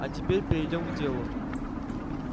а теперь перейдём к делу